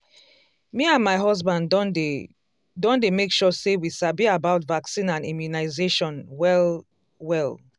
me and my husband don dey don dey make sure say we sabi about vaccine and immunization well-well.